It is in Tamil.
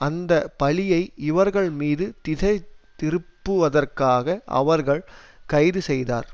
அந்த பழியை இவர்கள் மீது திசை திருப்புவதற்காக அவர்கள் கைது செய்தார்